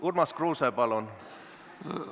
Urmas Kruuse, palun!